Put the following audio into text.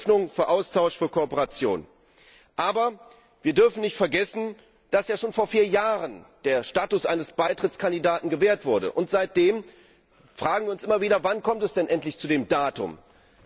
Das steht für Öffnung, für Austausch, für Kooperation. Aber wir dürfen nicht vergessen, dass ja schon vor vier Jahren der Status eines Beitrittskandidaten gewährt wurde, und seitdem fragen wir uns immer wieder, wann es denn endlich zu dem Datum kommt.